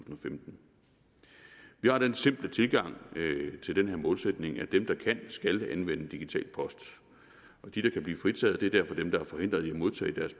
og femten vi har den simple tilgang til den her målsætning at dem der kan skal anvende digital post de der kan blive fritaget er derfor dem der er forhindret i at modtage deres